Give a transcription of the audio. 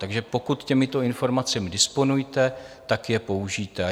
Takže pokud těmito informacemi disponujete, tak je použijte.